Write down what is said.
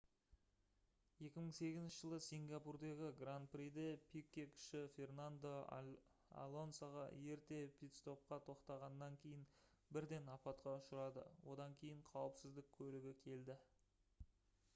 2008 жылы сингапурдағы гран-приде пике-кіші фернандо алонсоға ерте питстопқа тоқтағаннан кейін бірден апатқа ұшырады одан кейін қауіпсіздік көлігі келді